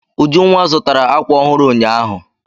Ujunwa zụtara àkwà ọhụrụ ụnyaahụ.